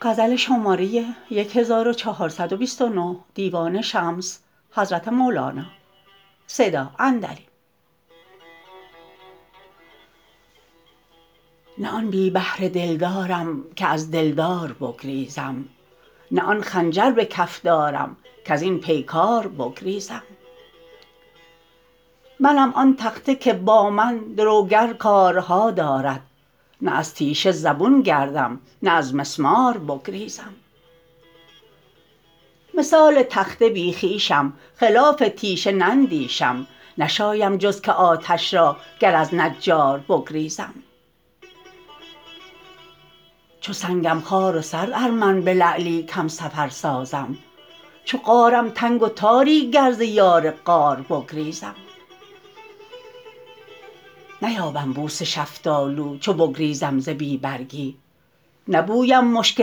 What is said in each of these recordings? نه آن بی بهره دلدارم که از دلدار بگریزم نه آن خنجر به کف دارم کز این پیکار بگریزم منم آن تخته که با من دروگر کارها دارد نه از تیشه زبون گردم نه از مسمار بگریزم مثال تخته بی خویشم خلاف تیشه نندیشم نشایم جز که آتش را گر از نجار بگریزم چو سنگم خوار و سرد ار من به لعلی کم سفر سازم چو غارم تنگ و تاری گر ز یار غار بگریزم نیابم بوس شفتالو چو بگریزم ز بی برگی نبویم مشک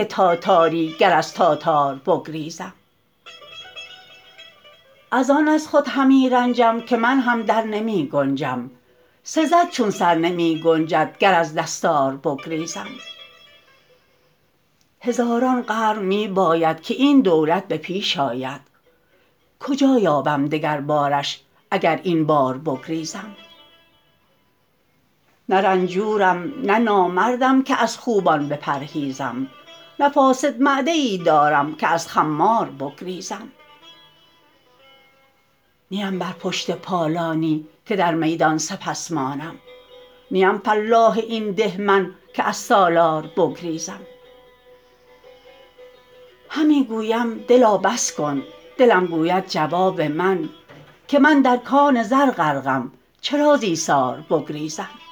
تاتاری گر از تاتار بگریزم از آن از خود همی رنجم که منهم در نمی گنجم سزد چون سر نمی گنجد گر از دستار بگریزم هزاران قرن می باید که این دولت به پیش آید کجا یابم دگربارش اگر این بار بگریزم نه رنجورم نه نامردم که از خوبان بپرهیزم نه فاسد معده ای دارم که از خمار بگریزم نیم بر پشت پالانی که در میدان سپس مانم نیم فلاح این ده من که از سالار بگریزم همی گویم دلا بس کن دلم گوید جواب من که من در کان زر غرقم چرا ز ایثار بگریزم